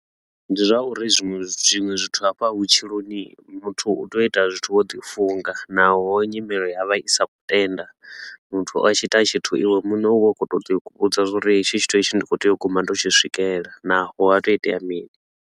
Ndi zwa uri zwiṅwe zwinwe zwithu hafha vhutshiloni hii, muthu u tea u ita zwithu wo ḓi funga naho nyimelo ya vha i sa khou tenda. Muthu a tshi ita tshithu iwe muṋe u vha u khou tou ḓi vhudza uri hetshi tshithu ndi khou tea u guma ndo u tshi swikelela naho ha tou itea mini.